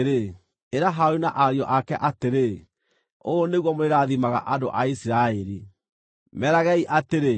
“Ĩra Harũni na ariũ ake atĩrĩ, ‘Ũũ nĩguo mũrĩrathimaga andũ a Isiraeli. Meragei atĩrĩ: